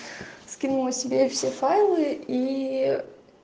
скинула себе все файлы ии